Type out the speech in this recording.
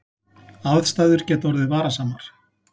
Aðstæður geta orðið varasamar